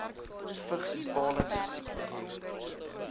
vigsbepalende siekte hê